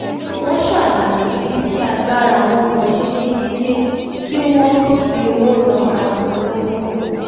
wọ́n ṣàlàyé ibi tí agbára wọn mọ yékéyéké kí wọ́n tó fi owó ran ara wọn lọ́wọ́